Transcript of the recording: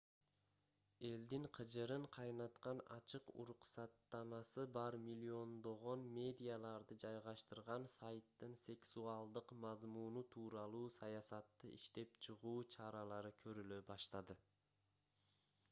элдин кыжырын кайнаткан ачык уруксаттамасы бар миллиондогон медиаларды жайгаштырган сайттын сексуалдык мазмуну тууралуу саясатты иштеп чыгуу чаралары көрүлө баштады